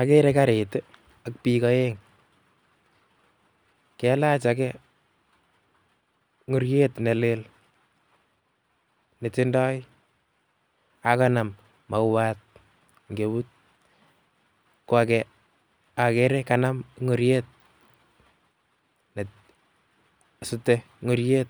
Akere karit ak biik oeng, kalach akee ing'oriet nelel netindoi ak ko kanam mauat eng' eut ko akee okere kanam ing'oriet nesute ing'oriet